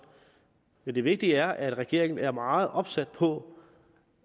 men det vigtige er at regeringen er meget opsat på